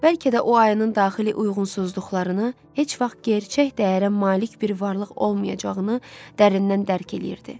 Bəlkə də o ayının daxili uyğunsuzluqlarını, heç vaxt gerçək dəyərə malik bir varlıq olmayacağını dərindən dərk eləyirdi.